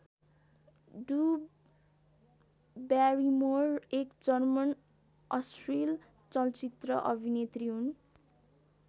Drew Barrymore एक German अश्लिल चलचित्र अभिनेत्री हुन्।